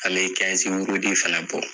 An be wurudi fɛnɛ bɔ.